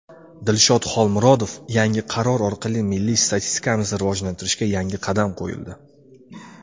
Dilshod Xolmurodov: Yangi qaror orqali milliy statistikamizni rivojlantirishga yangi qadam qo‘yildi.